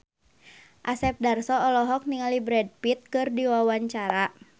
Asep Darso olohok ningali Brad Pitt keur diwawancara